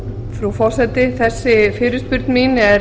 frú forseti þessi fyrirspurn mín er